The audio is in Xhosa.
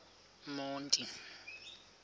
monti